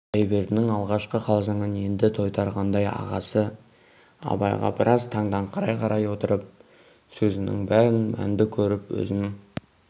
құдайбердінің алғашқы қалжыңын енді тойтарғандай ағасы абайға біраз таңданыңқырай қарай отырып сөзінің бәрін мәнді көріп өзің